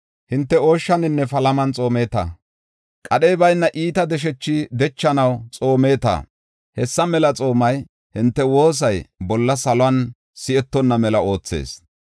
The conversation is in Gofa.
Hinte ooshshaninne palaman xoomeeta; qadhey bayna iita deshethi dechanaw xoomeeta. Hessa mela xoomiya hinte woosay bolla saluwan si7etonna mela oothees.